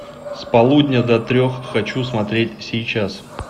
с полудня до трех хочу смотреть сейчас